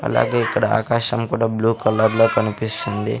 అలాగే ఇక్కడ ఆకాశం కూడా బ్లూ కలర్ లో కనిపిస్తుంది.